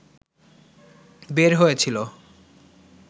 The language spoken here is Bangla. বের হয়েছিলো